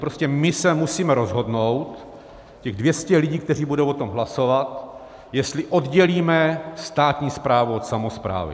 Prostě my se musíme rozhodnout, těch 200 lidí, kteří budou o tom hlasovat, jestli oddělíme státní správu od samosprávy.